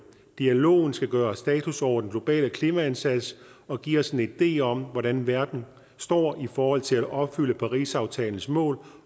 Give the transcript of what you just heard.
dialogen skal gøre status over den globale klimaindsats og give os en idé om hvordan verden står i forhold til at opfylde parisaftalens mål